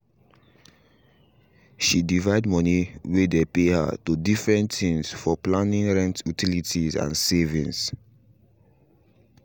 she divide money way dey pay her to different things for planing rent utilities and savings